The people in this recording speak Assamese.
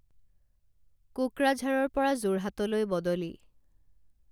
কোকৰাঝাৰৰ পৰা যোৰহাটলৈ বদলি